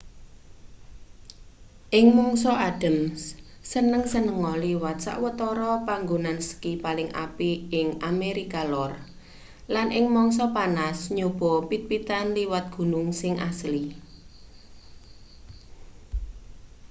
ing mangsa adhem seneng-senenga liwat sawetara panggonan ski paling apik ing amerika lor lan ing mangsa panas nyobaa pit-pitan liwat gunung sing asli